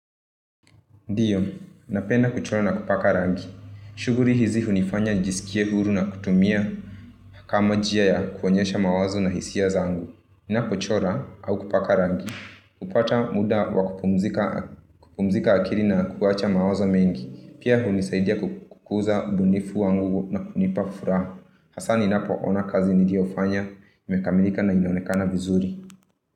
Ndiyo, napenda kuchora na kupaka rangi. Shughli hizi hunifanya jisikie huru na kutumia kama njia ya kuonyesha mawazo na hisia zaangu. Ninapochora, au kupaka rangi, hupata muda wakupumzika akili na kuacha mawazo mengi. Pia hunisaidia kukuza ubunifu wangu na kunipa furaha. Hasa ninapoona kazi niliyofanya imekamilika na inaonekana vizuri.